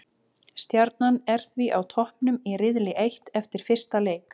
Stjarnan er því á toppnum í riðli eitt eftir fyrsta leik.